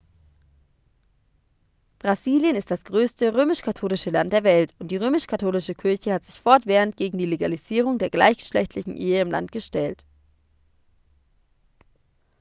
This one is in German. brasilien ist das größte römisch-katholische land der welt und die römisch-katholische kirche hat sich fortwährend gegen die legalisierung der gleichgeschlechtlichen ehe im land gestellt